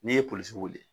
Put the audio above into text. N'i ye polisiw weele